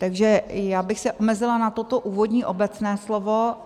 Takže já bych se omezila na toto úvodní obecné slovo.